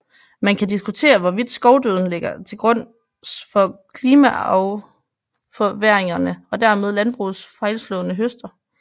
Man kan diskutere hvorvidt skovdøden ligger til grunds for klimaforværringerne og dermed landbrugets fejlslående høster